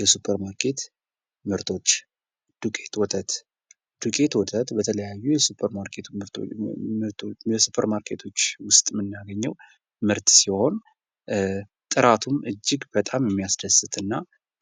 የሱፐር ማርኬት ምርቶች ። ዱቄት ወተት ፡ ዱቄት ወተት በተለያዩ የሱፐር ማርኬቶች ውስጥ የምናገኘው ምርት ሲሆን ጥራቱም እጅግ በጣም ሚያስደስት እና